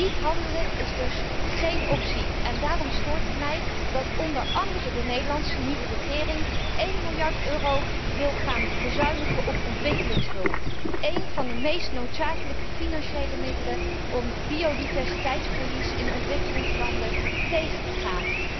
Niet handelen is dus geen optie, en daarom stoort het mij dat onder andere de nieuwe Nederlandse regering 1 miljard euro wil bezuinigen op ontwikkelingshulp, een van de meest noodzakelijke financiële middelen om biodiversiteitsverlies in ontwikkelingslanden tegen te gaan.